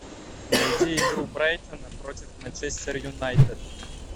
найди игру брайтона против манчестер юнайтед